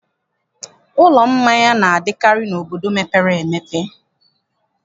Ụlọ mmanya na-adịkarị n'obodo mepere emepe.